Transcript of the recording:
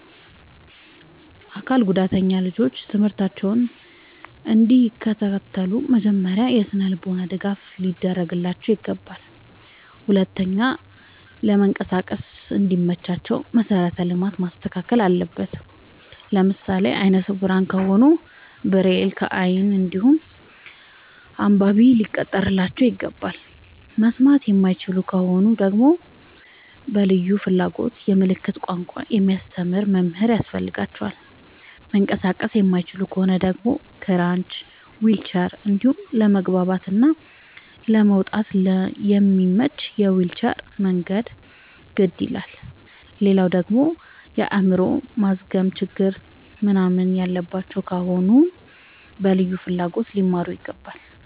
አካል ጉዳተኛ ልጆች ትምህርታቸውን እንዲ ከታተሉ መጀመሪያ የስነልቦና ድገፍ ሊደረግላቸው ይገባል። ሁለተኛ ለመንቀሳቀስ እንዲ መቻቸው መሰረተ ልማት መስተካከል አለበት። ለምሳሌ አይነስውራ ከሆኑ ብሬል ከይን እንዲሁም አንባቢ ሊቀጠርላቸው ይገባል። መስማት የማይችሉ ከሆኑ ደግመሞ በልዩ ፍላጎት የምልክት ቋንቋ የሚያስተምር መምህር ያስፈልጋቸዋል። መንቀሳቀስ የማይችሉ ከሆኑ ደግሞ ክራች ዊልቸር እንዲሁም ለመግባት እና ለመውጣት የሚያመች የዊልቸር መንገድ ግድ ይላላል። ሌላደግሞ የአይምሮ ማዝገም ችግር ምንናምን ያለባቸው ከሆኑ በልዩ ፍላጎት ሊማሩ ይገባል።